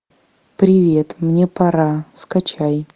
привет мне пора скачай